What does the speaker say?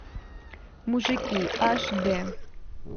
мужики аш дэ